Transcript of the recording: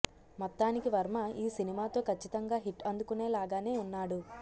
మొత్తానికి వర్మ ఈ సినిమాతో కచ్చితంగా హిట్ అందుకొనే లాగానే ఉన్నాడు